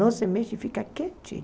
Não se mexe, fica quietinho.